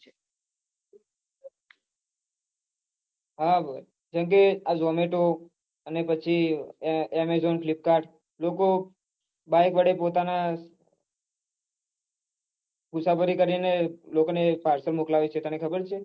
હા જેમકે આ zomato અને પછી amazonflipkart લોકો બાઈક વડે પોતાના મુસાફરી કરીને લોકો ને પાર્સલ મોકલાવે છે